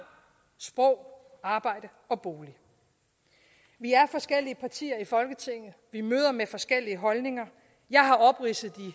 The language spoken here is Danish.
sprog arbejde og bolig vi er forskellige partier i folketinget vi møder med forskellige holdninger jeg har opridset de